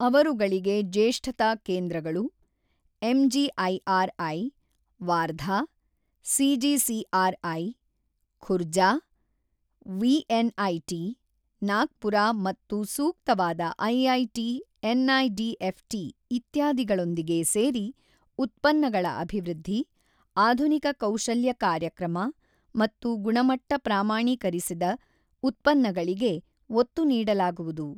ಅವರುಗಳಿಗೆ ಜೇಷ್ಠತಾ ಕೇಂದ್ರಗಳು, MGIRI, Wardha, CGCRI, Khurja, VNIT, Nagpur ಮತ್ತು ಸೂಕ್ತವಾದ ಐಐಟಿ ಎನ್.ಐ.ಡಿ.ಎಫ್.ಟಿ ಇತ್ಯಾದಿಗಳೊಂದಿಗೆ ಸೇರಿ, ಉತ್ಪನ್ನಗಳ ಅಭಿವೃದ್ಧಿ, ಆಧುನಿಕ ಕೌಶಲ್ಯ ಕಾರ್ಯಕ್ರಮ ಮತ್ತು ಗುಣಮಟ್ಟ ಪ್ರಾಮಾಣೀಕರಿಸಿದ ಉತ್ಪನ್ನಗಳಿಗೆ ಒತ್ತು ನೀಡಲಾಗುವುದು.